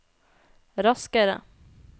raskere